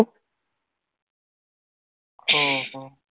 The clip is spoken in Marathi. हो हो